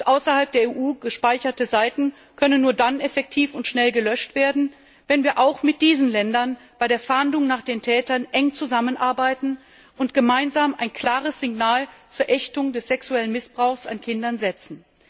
Außerhalb der EU gespeicherte Seiten können nur dann effektiv und schnell gelöscht werden, wenn wir auch mit diesen Ländern bei der Fahndung nach den Tätern eng zusammenarbeiten und gemeinsam ein klares Signal zur Ächtung des sexuellen Missbrauchs an Kindern setzen.